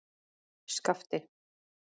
Skapti